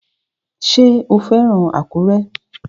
Ṣé o fẹ́ràn Àkúrẹ́?